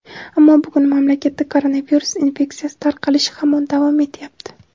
Ammo bugun mamlakatda koronavirus infeksiyasi tarqalishi hamon davom etyapti.